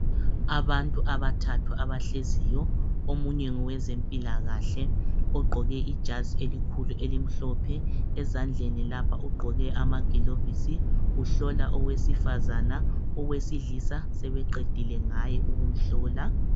Abantu abathathu abahleziyo. Omunye ngowezempilakahle. Ugqoke ijazi elikhulu elimhlophe. Ezandleni lapha ugqoke amagilovisi. Uhlola owesifazana, owesilisa sebeqedile ngaye ukumhlola.